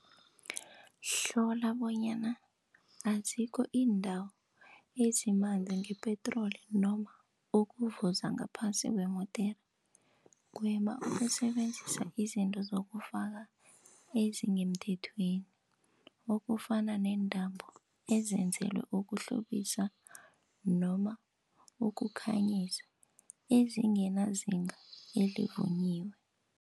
Hlola bonyana azikho iindawo ezimanzi ngepetroli, noma ukuvuza ngaphasi kwemodere. Gwema ukusebenzisa izinto zokufaka ezingemthethweni, okufana neentambo ezenzelwe ukuhlobisa, noma ukukhanyisa ezinganazinga elivunyiwe.